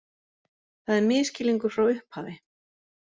Það er misskilningur frá upphafi